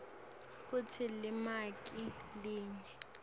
kutsi limaki linye